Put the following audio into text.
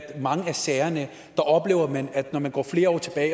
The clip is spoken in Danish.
mange af sagerne når man går flere år tilbage